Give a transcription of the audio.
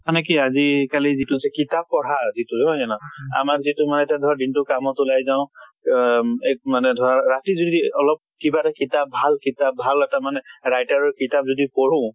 মানে কি আজি কালি যিটো যে কিতাপ পঢ়া যিটো নহয় জানো। আমাৰ যিটো ধৰা দিন টো কামত ওলাই যাওঁ, আহ এক মানে ধৰা ৰাতি যদি অলপ কিবা এটা কিতাপ, ভাল কিতাপ ভাল এটা মানে writer ৰ কিতাপ যদি পঢ়ো